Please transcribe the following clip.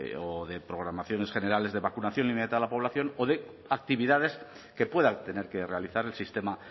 o de programaciones generales de vacunación a la población o de actividades que pueda tener que realizar el sistema